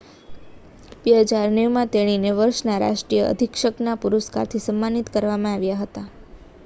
2009 માં તેણીને વર્ષના રાષ્ટ્રીય અધિક્ષકના પુરસ્કારથી સમ્માનિત કરવામાં આવ્યા હતા